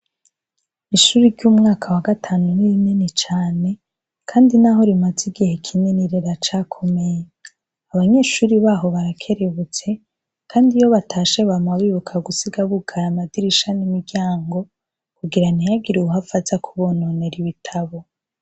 Ishure ry'umwaka wa gatanu ni rinini cane kandi naho rimaze igihe kinini riracakomeye. Abanyeshuri naho barakerebutse kandi iyo batashe bama bibuka gusiga bugaye amadirisha n'imiryango kugira ntihagire uwuhava aza kubononera ibitabo.